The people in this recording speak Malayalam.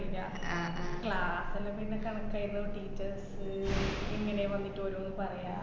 class എല്ലോ പിന്നെ കണക്കായര്ന്നു. teachers അ് ഇങ്ങനെ വന്നിട്ട് ഓരോന്ന് പറയാ.